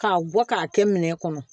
K'a bɔ k'a kɛ minɛ kɔnɔ